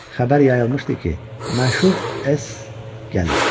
Xəbər yayılmışdı ki, məşhur S gəlir.